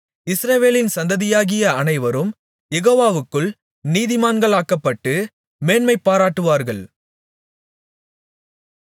இஸ்ரவேலின் சந்ததியாகிய அனைவரும் யெகோவாவுக்குள் நீதிமான்களாக்கப்பட்டு மேன்மைபாராட்டுவார்கள்